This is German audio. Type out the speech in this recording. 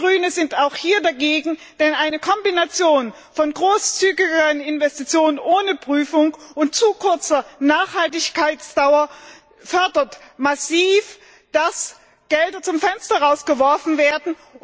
Wir Grüne sind auch hier dagegen, denn eine Kombination von großzügigeren Investitionen ohne Prüfung und zu kurzer Nachhaltigkeitsdauer fördert massiv, dass Gelder zum Fenster hinausgeworfen werden.